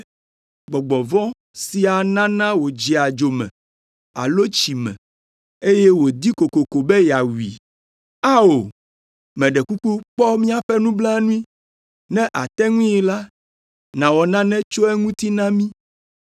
Gbɔgbɔ vɔ̃ sia nana wòdzea dzo me alo tsi me, eye wòdi kokoko be yeawui. Ao! Meɖe kuku kpɔ míaƒe nublanui, ne àte ŋui la, nàwɔ nane tso eŋuti na mí.”